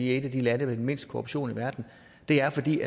et af de lande med mindst korruption i verden det er fordi